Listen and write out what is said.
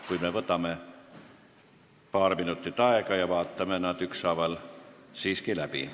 Kuid võtame paar minutit aega ja vaatame need ükshaaval siiski läbi.